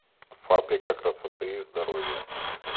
фабрика красоты и здоровья